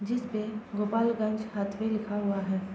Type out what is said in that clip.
जिसपे गोपालगंज हथवा लिखा हुआ है।